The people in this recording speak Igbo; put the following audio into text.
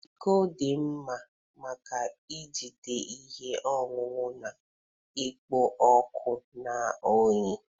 Iko dị mma maka ijide ihe ọṅụṅụ na-ekpo ọkụ na oyi.